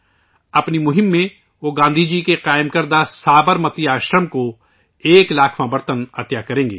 اپنی مہم میں وہ گاندھی جی کے قائم کردہ سابرمتی آشرم کو ایک لاکھواں برتن عطیہ کریں گے